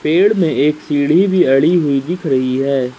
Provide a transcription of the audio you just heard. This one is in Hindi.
पेड़ में एक सीढ़ी भी अड़ी हुई दिख रही है।